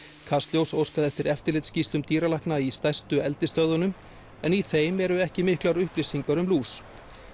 kastljós óskaði eftir eftirlitsskýrslum dýralækna í stærstu eldisstöðvunum en í þeim eru ekki miklar upplýsingar um lús